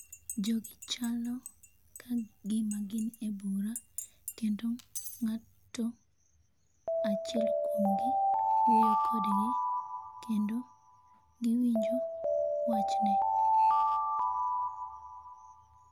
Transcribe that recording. Jogi chalo kagima gin e bura kendo ng'ato achiel kuomgi wuoyo kodgi kendo giwinjo wachne